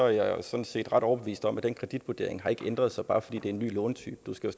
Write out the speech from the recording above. jeg sådan set ret overbevist om at den kreditvurdering ikke har ændret sig bare fordi der kommer en ny lånetype du skal